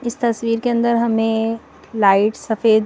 इस तस्वीर के अंदर हमें लाइट सफेद--